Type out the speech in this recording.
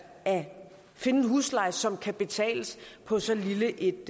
at finde en husleje som kan betales på så lille et